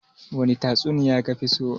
wani tatsuniya kafiso?